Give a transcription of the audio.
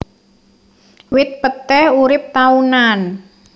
Wit peté urip taunan